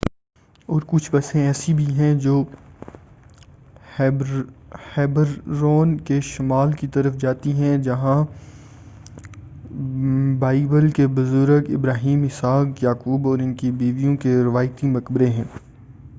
اور کچھ بسیں ایسی بھی ہیں جو ہیبرون کے شمال کی طرف جاتی ہیں جہاں بائیبل کے بزرگ ابراہیم اسحاق یعقوب اور ان کی بیویوں کے روایتی مقبرے ہیں